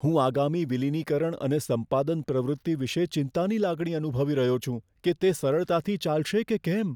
હું આગામી વિલિનીકરણ અને સંપાદન પ્રવૃત્તિ વિશે ચિંતાની લાગણી અનુભવી રહ્યો છું કે તે સરળતાથી ચાલશે કે કેમ.